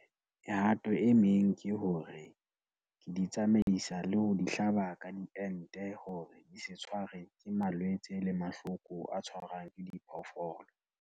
Mehato e meng ke hore, ke di tsamaisa le ho di hlaba ka diente hore di se tshware ke malwetse le mahloko a tshwarang ke diphoofolo.